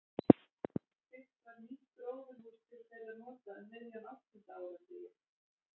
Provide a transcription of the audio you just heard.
Byggt var nýtt gróðurhús til þeirra nota um miðjan áttunda áratuginn.